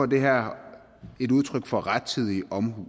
det her et udtryk for rettidig omhu